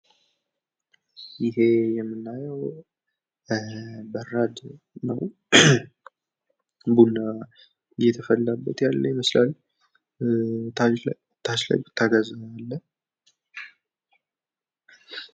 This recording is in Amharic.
ይህ የምናየው በራድ ነው። ቡና እየተፈላበት ይመስላል ። ታች ላይ ቡታጋዝ አለ ።